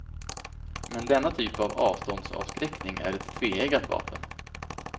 Men denna typ av avståndsavskräckning är ett tveeggat vapen.